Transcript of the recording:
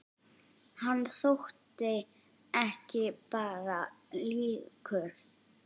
Hann þótti ekki bara líkur